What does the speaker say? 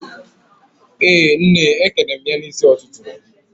Ee nne, ekene m ya n'isi ututu